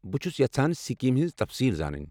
بہٕ چھس یژھان سکیٖم ہنٛز تفصیٖلہٕ زانٕنۍ۔